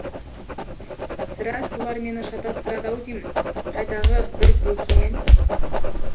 сірә солар мені шатастырады ау деймін қайдағы бір бөкимен